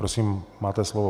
Prosím, máte slovo.